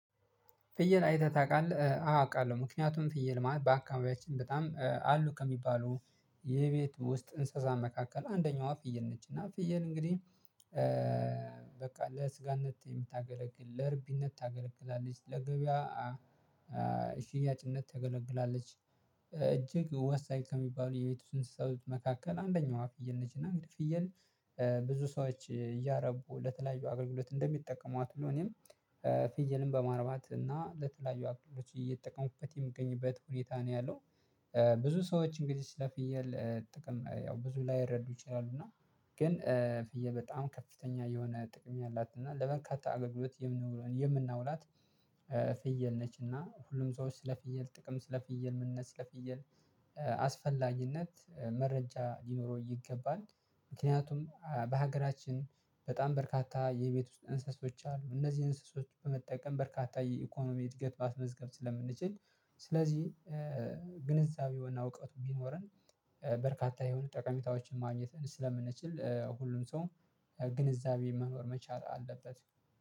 ፍየል አይተህ ታውቃለህ? አዎ አውቃለሁ። ምክንያቱም ፍየል ማለት በአካምቢያችን በጣም አሉ ከሚባሉ የቤት ውስጥ እንስሳት መካከል አንደኛዋ ፍየል ነች። እና ፍየል እንግዲህ በቃ ለስጋነት የምታገለግል፣ ለእርቢነት ታገለግላለች፣ ለገበያ ሽያጭነት ታገለግላለች እጅግ ወሳኝ ከሚባሉ የቤት ውስጥ እንስሳዎች መካከል አንደኛዋ ፍየል ነች። እና እንግዲህ ፍየል ብዙ ሰዎች እያረቡ ለተለያዩ አገልግሎት እንደሚጠቀሙት ሁሉ እኔም ፍየልን በማርባት እና ለተለያዩ አገልግሎቶች እየተጠቀሙኩበት የምገኝበት ሁኔታ ነው ያለው። ብዙ ሰዎች እንግዲህ ስለፍየል ጥቅም ያው ብዙ ላይረዱ ይችላሉ። እና ግን ፍየል በጣም ከፍተኛ የሆነ ጥቅም ነው ያላት። እና ለበርካታ አገልግሎት ነው የምናውላት። ፍየል ነች እና ሁሉም ሰዎች ስለ ፍየል ጥቅም ስለ ፍየል ምንነት ፍየል አስፈላጊነት መረጃ ሊኖረው ይገባል። ምክንያቱም በሀገራችን በጣም በርካታ የቤት ውስጥ እንስሶዎች አሉ። እነዚህ እንስሶዎችን በመጠቀም በርካታ የኢኮኖሚ እድገት ማስመዝገብ ስለምንችል ስለዚህ ግንዛቤው እና እውቀቱ ቢኖረን በርካታ የሆነ ጠቀሜታዎችን ማግኘት ስለምንችል ሁሉም ሰው ግንዛቤ መኖር መቻል አለበት።